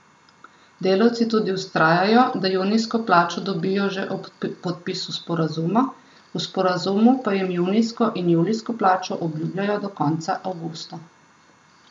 Delavci tudi vztrajajo, da junijsko plačo dobijo že ob podpisu sporazuma, v sporazumu pa jim junijsko in julijsko plačo obljubljajo do konca avgusta.